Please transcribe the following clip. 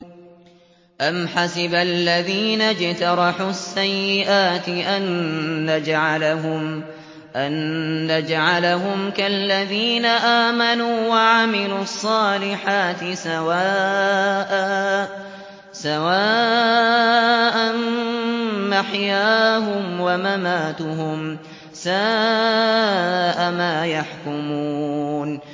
أَمْ حَسِبَ الَّذِينَ اجْتَرَحُوا السَّيِّئَاتِ أَن نَّجْعَلَهُمْ كَالَّذِينَ آمَنُوا وَعَمِلُوا الصَّالِحَاتِ سَوَاءً مَّحْيَاهُمْ وَمَمَاتُهُمْ ۚ سَاءَ مَا يَحْكُمُونَ